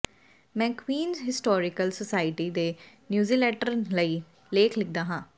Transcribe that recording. ਮੈਂ Queens historical society ਦੇ newsletter ਲਈ ਲੇਖ ਲਿਖਦਾ ਹਾਂ